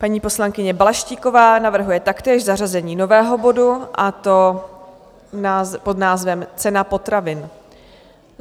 Paní poslankyně Balaštíková navrhuje taktéž zařazení nového bodu, a to pod názvem Cena potravin.